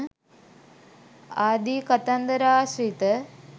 ආදී කතන්දර ආශ්‍රිත